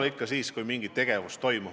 Eks see eelda ikka mingit tegevust.